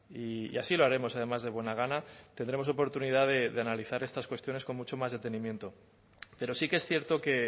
y así lo haremos además de buena gana tendremos oportunidad de analizar estas cuestiones con mucho más detenimiento pero sí que es cierto que